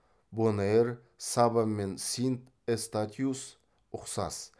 бонэйр саба мен синт эстатиус ұқсас